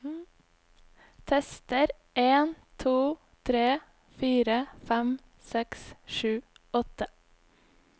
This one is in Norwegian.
Tester en to tre fire fem seks sju åtte